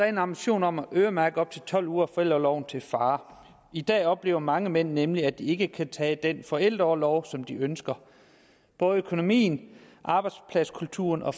en ambition om at øremærke op til tolv uger af forældreorloven til far i dag oplever mange mænd nemlig at de ikke kan tage den forældreorlov som de ønsker både økonomien arbejdspladskulturen og